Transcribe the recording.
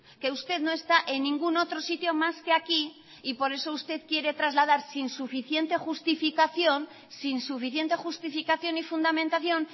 que usted no está en ningún otro sitio más que aquí y por eso usted quiere trasladar sin suficiente justificación sin suficiente justificación y fundamentación